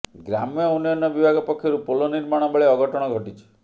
ଗ୍ରାମ୍ୟ ଉନ୍ନୟନ ବିଭାଗ ପକ୍ଷରୁ ପୋଲ ନିର୍ମାଣ ବେଳେ ଅଘଟଣ ଘଟିଛି